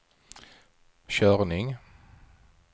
körning